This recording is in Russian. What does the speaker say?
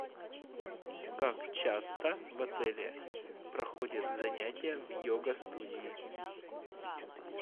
как часто в отеле проходят занятия в його студии